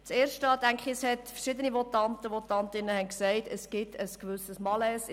Erstens: Verschiedene Votanten und Votantinnen haben gesagt, in diesem Bereich gebe es ein gewisses Malaise.